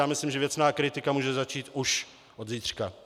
Já myslím, že věcná kritika může začít už od zítřka.